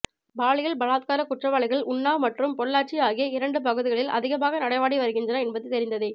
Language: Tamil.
பாலியல் பலாத்கார குற்றவாளிகள் உன்னாவ் மற்றும் பொள்ளாச்சி ஆகிய இரண்டு பகுதிகளில் அதிகமாக நடமாடி வருகின்றனர் என்பது தெரிந்ததே